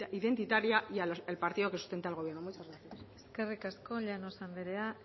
identitaria y al partido que sustenta al gobierno muchas gracias eskerrik asko llanos anderea